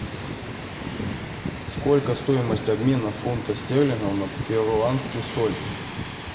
сколько стоимость обмена фунта стерлинга на перуанский соль